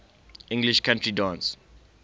english country dance